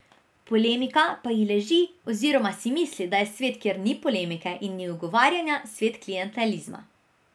Polemika pa ji leži oziroma si misli, da je svet, kjer ni polemike in ni ugovarjanja, svet klientelizma.